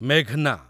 ମେଘ୍‌ନା